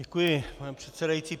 Děkuji, pane předsedající.